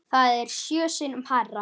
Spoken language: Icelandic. Það er sjö sinnum hærra.